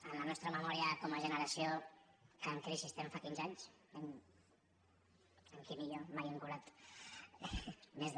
en la nostra memòria com a generació que en crisi estem fa quinze anys en quim i jo mai hem cobrat més de